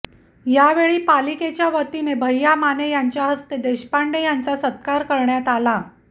यावेळी पालिकेच्यावतीने भैय्या माने यांच्या हस्ते देशपांडे यांचा सत्कार करण्यात आला